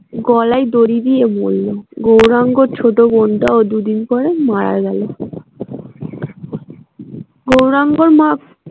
গলায় দড়ি দিয়ে মরল গৌরাঙ্গর ছোট বোনটাও দিন পরে মারা গেল গৌরাঙ্গর মা।